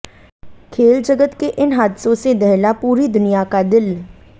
खेल जगत के इन हादसों से दहला पूरी दुनिया का दिल